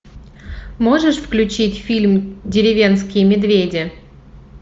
можешь включить фильм деревенские медведи